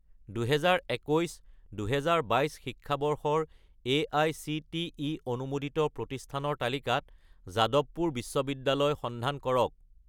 2021 - 2022 শিক্ষাবৰ্ষৰ এআইচিটিই অনুমোদিত প্ৰতিষ্ঠানৰ তালিকাত যাদৱপুৰ বিশ্ববিদ্যালয় ৰ সন্ধান কৰক